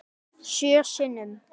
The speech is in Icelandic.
Sjö sinnum.